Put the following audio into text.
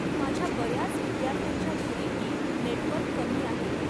माझ्या बऱ्याच विद्यार्थ्यांच्या घरीही नेटवर्क कमी आहे.